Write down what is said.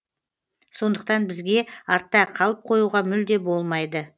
сондықтан бізге артта қалып қоюға мүлде болмайды